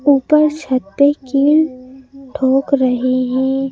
ऊपर छत पे कील ठोक रहे हैं।